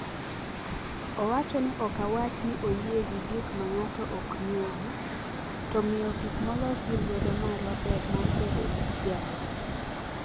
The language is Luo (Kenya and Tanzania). Owacho ni ok awach ni oyie gi gik ma ng’ato ok ng’eyo, to miyo gik molos gi lwedo marwa ber mar bedo gi kiawa.